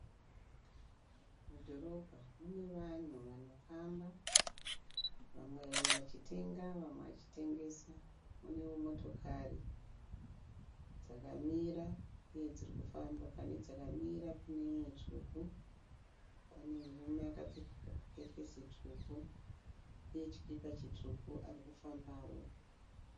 Mudhorobha mune vanhu vanofamba . Vamwe vachitenga vamwe vachitengesa. Munewo motokari dzakamira uye dzirikufamba. Pane dzakamira paneimwe tsvuku. Pane murume akapfeka chikepesi chitsvuku uye chikipa chitsvuku arikufambawo.